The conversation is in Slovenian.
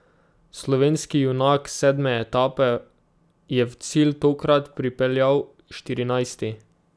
Slovenski junak sedme etape je v cilj tokrat pripeljal štirinajsti.